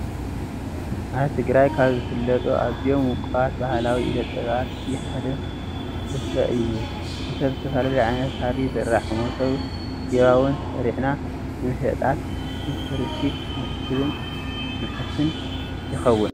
ኣብ ትግራይ ካብ ዝፍለጡ ኣዝዮም ውቁባት ባህላዊ ኢደ ጥበባት እቲ ሓደ ስፈ እዩ፡፡ ስፈ ብዝተፈላለዩ ዓይነታት ሃሪ ይስራሕ፡፡ መሶብ፣ ጊባቦን ሰሪሕና ንመሸጣን ንትሪስት መሕስን ይኸውን፡፡